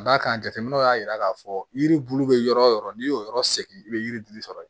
Ka d'a kan jateminɛw y'a jira k'a fɔ yiri bulu bɛ yɔrɔ o yɔrɔ n'i y'o yɔrɔ segin i bɛ yiri sɔrɔ